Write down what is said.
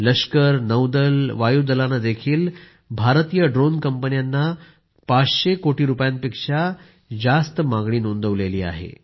लष्कर नौदल वायूदलाने भारतीय ड्रोन कंपन्यांना 500 कोटी रूपयांपेक्षा जास्त मागणी नोंदवली आहे